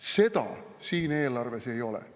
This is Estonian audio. Seda siin eelarves ei ole.